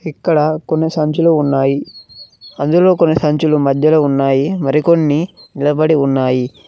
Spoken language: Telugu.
ఇక్కడ కొన్ని సంచులు ఉన్నాయి అందులో కొన్ని సంచులు మధ్యలో ఉన్నాయి మరికొన్ని నిలబడి ఉన్నాయి.